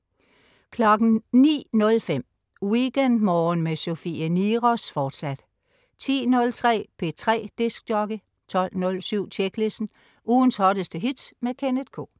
09.05 WeekendMorgen med Sofie Niros, fortsat 10.03 P3 dj 12.07 Tjeklisten. Ugens hotteste hits med Kenneth K